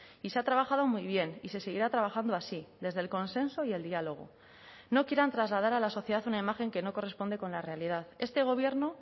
y se ha trabajado muy bien y se seguirá trabajando así desde el consenso y el diálogo no quieran trasladar a la sociedad una imagen que no corresponde con la realidad este gobierno